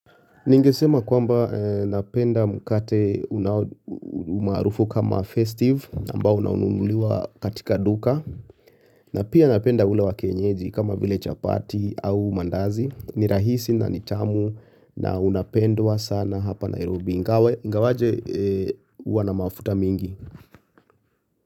Ningesema kwamba napenda mkate unao umaarufu kama festive ambao unaonuliwa katika duka na pia napenda ule wa kienyeji kama vile chapati au mandazi ni rahisi na ni tamu na unapendwa sana hapa Nairobi ingawa ingawaje uwa na mafuta mingi.